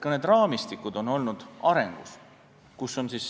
Ka see raamistik on olnud arengus.